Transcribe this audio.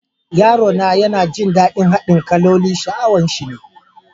Yaro na yana jin dadin haɗin sha'awan shi ne.